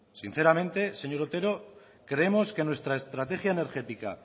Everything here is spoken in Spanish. sinceramente señor otero creemos que nuestra estrategia energética